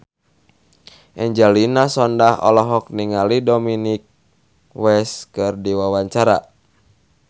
Angelina Sondakh olohok ningali Dominic West keur diwawancara